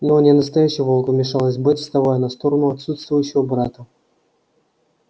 но он не настоящий волк вмешалась бэт вставая на сторону отсутствующего брата